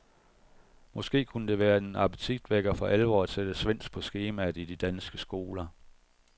Måske kunne det være en appetitvækker for alvor at sætte svensk på skemaet i de danske skoler.